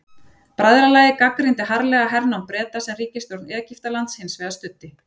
Bræðralagið gagnrýndi harðlega hernám Breta sem ríkisstjórn Egyptalands hins vegar studdi.